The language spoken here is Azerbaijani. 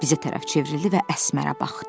Bizə tərəf çevrildi və Əsmərə baxdı.